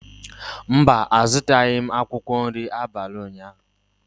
Mba, a zụtaghị akwụkwọ nri abalị ụnyahụ.